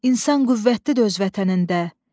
İnsan qüvvətlidir öz vətənində.